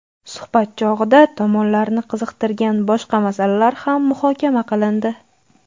Suhbat chog‘ida tomonlarni qiziqtirgan boshqa masalalar ham muhokama qilindi.